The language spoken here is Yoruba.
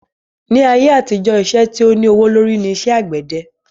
Ni ayé àtijọ́, iṣẹ́ tí o ní owó lórí ní iṣẹ́ àgbẹ́dẹ